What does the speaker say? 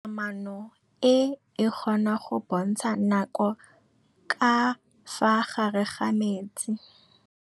Toga-maanô e, e kgona go bontsha nakô ka fa gare ga metsi.